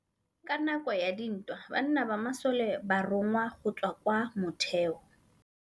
Ka nakô ya dintwa banna ba masole ba rongwa go tswa kwa mothêô.